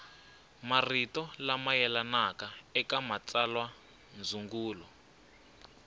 marito lama yelanaka eka matsalwandzungulo